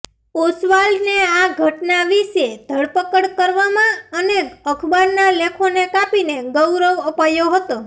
ઓસ્વાલ્ડને આ ઘટના વિશે ધરપકડ કરવામાં અને અખબારના લેખોને કાપીને ગૌરવ અપાયો હતો